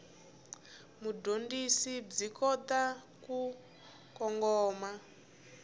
mudyondzi byi kota ku kongoma